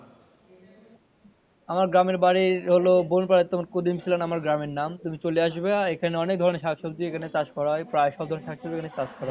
আমার গ্রামের বাড়ি হলো বোন পাড়া তোমার কুদিম ছিল আমার গ্রামের নাম তুমি চলে আসবে এখানে অনেক ধরনের শাকসবজি এখানে চাষ করা হয় প্রায় সব ধরনের ফসল চাষ করা হয়।